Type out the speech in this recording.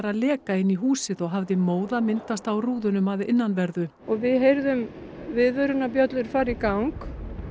leka inn í húsinu og hafði móða myndast á rúðunum að innanverðu og við heyrðum viðvörunarbjöllur fara í gang